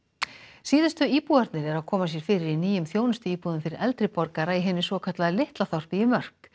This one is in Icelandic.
síðustu íbúarnir eru að koma sér fyrir í nýjum þjónustuíbúðum fyrir eldri borgara í hinu svokallaða litla þorpi í Mörk